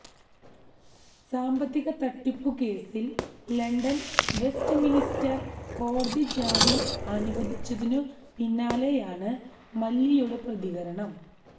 സാമ്പത്തിക തട്ടിപ്പു കേസില് ലണ്ടന് വെസ്റ്റ്മിന്സ്റ്റര് കോടതി ജാമ്യം അനുവദിച്ചതിനു പിന്നാലെയാണ് മല്യയുടെ പ്രതികരണം